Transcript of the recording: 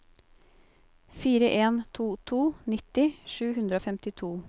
fire en to to nitti sju hundre og femtito